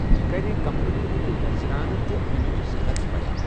یہٕ کرِ کمپنی ہنٛد نَزرانہٕ تہٕ امٕچ صنعت بیان۔